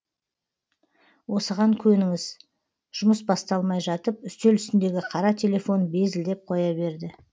осыған көніңіз жұмыс басталмай жатып үстел үстіндегі қара телефон безілдеп қоя берді